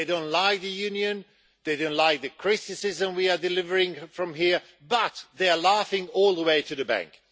They don't like the Union and they don't like the criticism we are delivering from here, but they are laughing all the way to the bank.